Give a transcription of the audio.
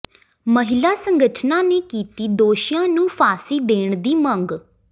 ਮਹਿਲਾ ਸੰਗਠਨਾਂ ਨੇ ਕੀਤੀ ਦੋਸ਼ੀਆਂ ਨੂੰ ਫਾਂਸੀ ਦੇਣ ਦੀ ਮੰਗ